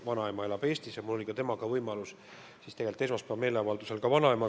Vanaema elab Eestis ja mul oli võimalus temaga esmaspäevasel meeleavaldusel ka vestelda.